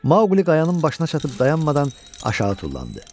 Mauqli qayanın başına çatıb dayanmadan aşağı tullandı.